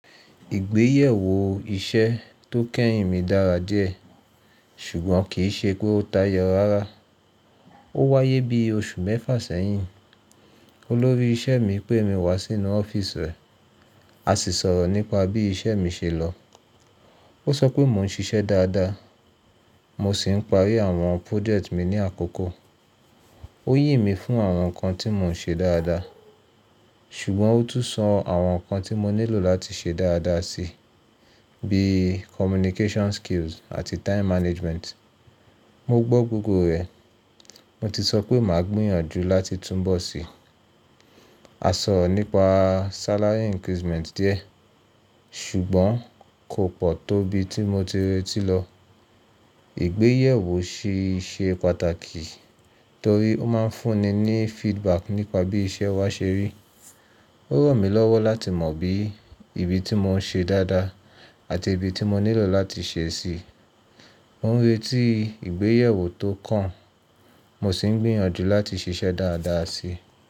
Ìgbéyèwò iṣẹ́ tó kẹ́yìn mi dára díẹ̀, ṣùgbọ́n kì í ṣe pé ó tayọ rárá. Ó wáyé bí oṣù mẹ́fà sẹ́yìn. Olórí iṣẹ́ mi pé mi wá sínú ọ́fíísì rẹ̀, a sì sọ̀rọ̀ nípa bí iṣẹ́ mi ṣe lọ. Ó sọ pé mò ń ṣiṣẹ́ dáadáa, mo sì ń parí àwọn project mi ní àkókò. Ó yìn mi fún àwọn nǹkan tí mò ń ṣe dáadáa, ṣùgbọ́n ó tún sọ àwọn nǹkan tí mo nílò láti ṣe dáadáa si, bí i communication skills àti time management. Mo gbọ́ gbogbo rẹ̀. Mo ti sọ pé màá gbìyànjú láti túnbọ̀ sí i. A sọ̀rọ̀ nípa salary increment díẹ̀, ṣùgbọ́n kò pọ̀ tó bi tí mo ti retí lọ. Ìgbéyèwò ṣe pàtàkì torí ó máa ń fún ni ní feedback nípa bí iṣẹ́ wa ṣe rí. Ó ràn mí lọ́wọ́ láti mọ bí ibi tí mò ń ṣe dáadáa àti ibi tí mo nílò láti ṣe sí i. Mo ń retí ìgbéyèwò tó kàn, mo sì ń gbìyànjú láti ṣiṣẹ́ dáadáa si.